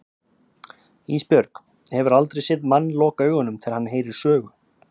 Ísbjörg, hefurðu aldrei séð mann loka augunum þegar hann heyrir sögu?